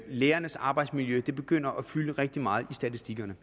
lærernes arbejdsmiljø begynder at fylde rigtig meget i statistikkerne